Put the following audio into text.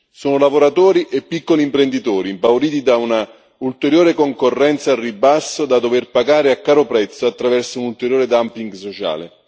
Sono lavoratori e piccoli imprenditori, impauriti da un'ulteriore concorrenza al ribasso, da dover pagare a caro prezzo attraverso un ulteriore dumping sociale.